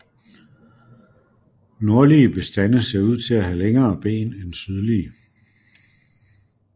Nordlige bestande ser ud til at have længere ben end sydlige